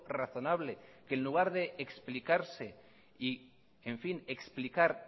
razonable que en lugar de explicarse y en fin explicar